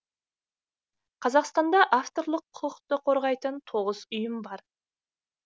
қазақстанда авторлық құқықты қорғайтын тоғыз ұйым бар